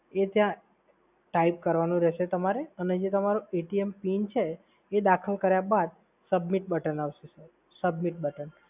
એ ત્યાં type કરવાનું રહેશે અને તમારું પિન છે એ દાખલ કર્યા બાદ submit button આવશે સર, સબમિટ બટન.